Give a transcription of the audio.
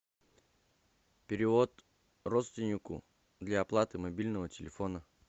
перевод родственнику для оплаты мобильного телефона